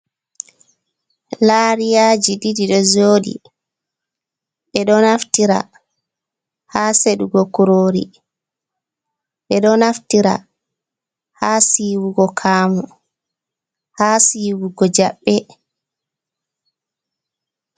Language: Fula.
Lariyaji ɗiɗi ɗo joɗi, ɓeɗo naftira ha seɗugo kurori, ɓe ɗo naftira ha siwugo kamu, ha siwugo jaɓɓe.